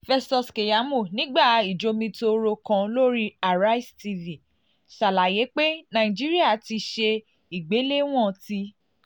festus keyamo nigba ijomitoro kan lori arise tv ṣalaye pe naijiria ti ṣe igbelewọn ti